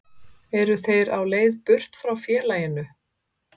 Eru þeir á leið burt frá félaginu?